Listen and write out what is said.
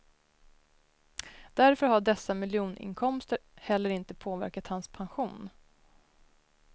Därför har dessa miljoninkomster heller inte påverkat hans pension.